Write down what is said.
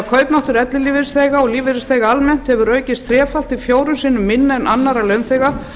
kaupmáttur ellilífeyrisþega og lífeyrisþega almennt hefur því aukist þrefalt til fjórum sinnum minna en annarra launþega